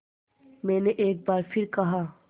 मैंने एक बार फिर कहा